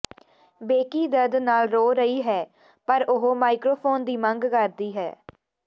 Becky ਦਰਦ ਨਾਲ ਰੋ ਰਹੀ ਹੈ ਪਰ ਉਹ ਮਾਈਕ੍ਰੋਫੋਨ ਦੀ ਮੰਗ ਕਰਦੀ ਹੈ